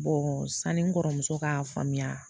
san ni n kɔrɔmuso k'a faamuya